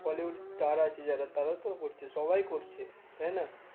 Bollywood star আরকি যারা তারাও তো করছে, সবাই করছে তাই না?